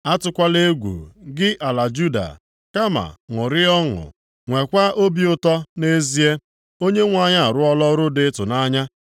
Atụkwala egwu, gị ala Juda, kama ṅụrịa ọṅụ, nweekwa obi ụtọ, nʼezie, Onyenwe anyị arụọla ọrụ dị ịtụnanya.